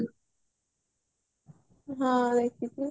ହଁ ଦେଖିଚି